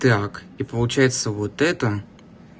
так и получается вот это